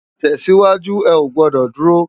Tèsiwájú, è ó gbòdò dúró